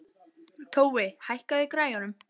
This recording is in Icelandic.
Tói, hækkaðu í græjunum.